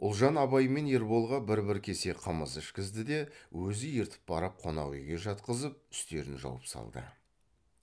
ұлжан абай мен ерболға бір бір кесе қымыз ішкізді де өзі ертіп барып қонақ үйге жатқызып үстерін жауып салды